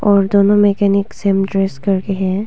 और दोनों mechanic same dress करके है।